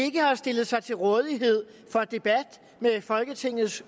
ikke har stillet sig til rådighed for en debat med folketingets